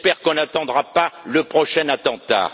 J'espère qu'on n'attendra pas le prochain attentat.